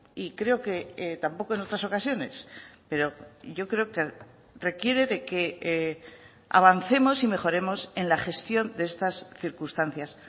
y creo que tampoco en otras ocasiones pero yo creo que requiere de que avancemos y mejoremos en la gestión de estas circunstancias